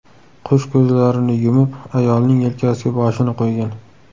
Qush ko‘zlarini yumib, ayolning yelkasiga boshini qo‘ygan.